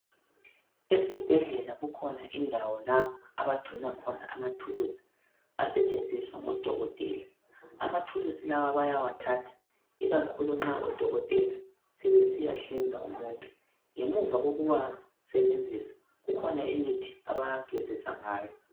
Esibhedlela kukhona indawo lapha abagcina khona amathuluzi asetshenziswa ngodokotela. Amathuluzi lawa bayawathatha ikakhulu nxa udokotela ebesiyahlinza umuntu. Ngemuva kokuwasebenzisa kukhona imithi abawagezisa ngayo.